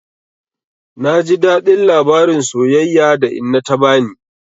Na ji daɗin labarin soyayya da inna ta bani.